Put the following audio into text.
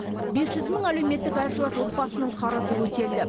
бес жүз мың әлеуметтік әлжуаз отбасының қарызы өтелді